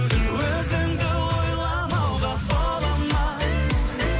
өзіңді ойламауға бола ма